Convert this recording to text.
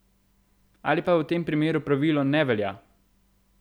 Ali pa v tem primeru pravilo ne velja?